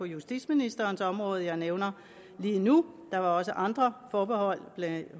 justitsministerens område jeg nævner lige nu der var også andre forbehold blandt